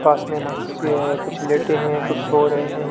पास में मच्छी है कुछ लेटे हुए हैं कुछ सो रहे हैं।